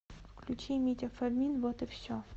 включи митя фомин вот и все